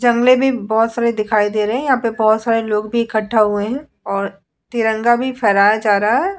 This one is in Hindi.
जंगले भी बहोत सारे दिखाई दे रहे हैं। यहाँ पे बहोत सारे लोग भी इकठ्ठा हुए हैं और तिरंगा भी फहराया जा रहा है।